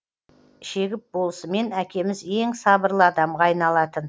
шегіп болысымен әкеміз ең сабырлы адамға айналатын